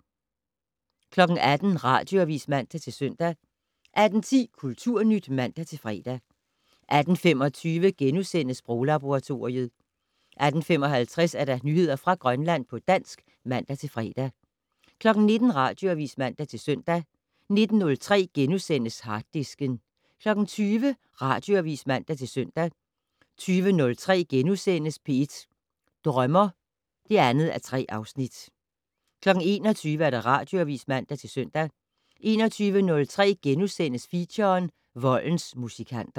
18:00: Radioavis (man-søn) 18:10: Kulturnyt (man-fre) 18:25: Sproglaboratoriet * 18:55: Nyheder fra Grønland på dansk (man-fre) 19:00: Radioavis (man-søn) 19:03: Harddisken * 20:00: Radioavis (man-søn) 20:03: P1 Drømmer (2:3)* 21:00: Radioavis (man-søn) 21:03: Feature: Voldens musikanter *